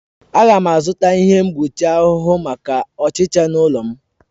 Aga m azụta ihe mgbochi ahụhụ maka ọchịcha n'ụlọ m